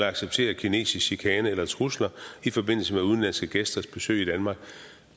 at acceptere kinesisk chikane eller trusler i forbindelse med udenlandske gæsters besøg i danmark